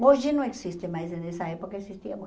Hoje não existe mas em nessa época, existia muito.